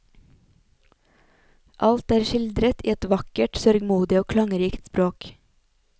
Alt er skildret i et vakkert, sørgmodig og klangrikt språk.